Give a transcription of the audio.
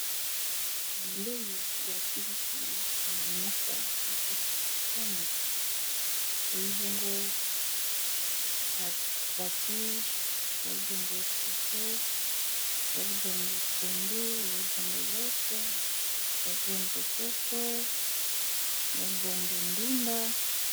Bilbeli ya kiliki na mesa na kata basani elibongo abatige ya libongo fufu yalibongo pondu yalibongo loso yalbongo soso ya libongo ndunda.